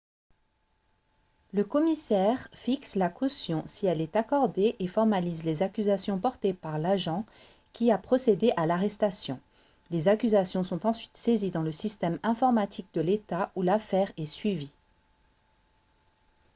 le commissaire fixe la caution si elle est accordée et formalise les accusations portées par l'agent qui a procédé à l'arrestation les accusations sont ensuite saisies dans le système informatique de l'état où l'affaire est suivie